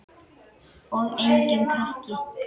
Og enginn krakki!